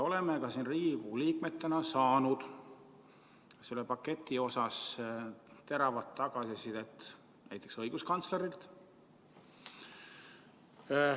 Oleme ka siin Riigikogu liikmetena saanud selle paketi kohta teravat tagasisidet, näiteks õiguskantslerilt.